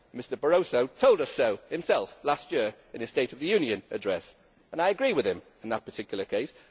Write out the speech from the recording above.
Mr Barroso told us so himself last year in the State of the Union address, and I agree with him in that particular case.